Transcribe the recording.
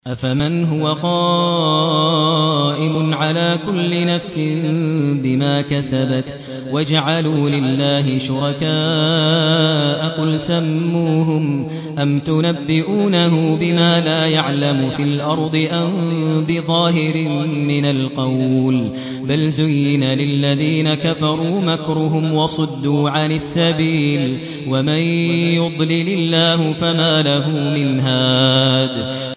أَفَمَنْ هُوَ قَائِمٌ عَلَىٰ كُلِّ نَفْسٍ بِمَا كَسَبَتْ ۗ وَجَعَلُوا لِلَّهِ شُرَكَاءَ قُلْ سَمُّوهُمْ ۚ أَمْ تُنَبِّئُونَهُ بِمَا لَا يَعْلَمُ فِي الْأَرْضِ أَم بِظَاهِرٍ مِّنَ الْقَوْلِ ۗ بَلْ زُيِّنَ لِلَّذِينَ كَفَرُوا مَكْرُهُمْ وَصُدُّوا عَنِ السَّبِيلِ ۗ وَمَن يُضْلِلِ اللَّهُ فَمَا لَهُ مِنْ هَادٍ